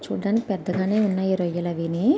చూడ్డానికి పెద్దగా నే ఉన్నాయి ఆ రొయ్యలు అవీని.